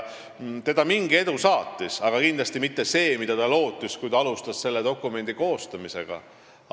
Teda mingi edu saatis, aga kindlasti mitte selline, mida ta oli lootnud, kui ta selle dokumendi koostamist alustas.